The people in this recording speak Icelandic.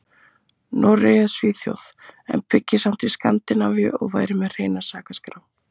Noregi eða Svíþjóð en byggi samt í Skandinavíu og væri með hreina sakaskrá.